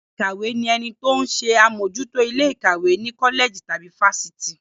Ọ̀gá ilé ìkàwé ni ẹni tó ń ṣe àmójútó ilé ìkàwé ní kọ́lẹ̀jì tàbí fáfitì.